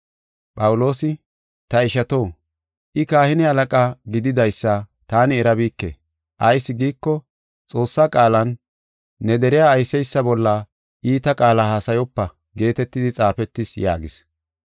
Phawuloosi, “Ta ishato, I kahine halaqa gididaysa taani erabike; ayis giiko Xoossaa qaalan, ‘Ne deriya ayseysa bolla iita qaala haasayopa’ geetetidi xaafetis” yaagis.